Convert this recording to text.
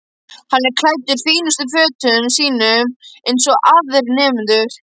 Hann er klæddur fínustu fötunum sínum eins og aðrir nemendur.